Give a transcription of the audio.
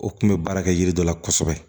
O kun bɛ baara kɛ yiri dɔ la kosɛbɛ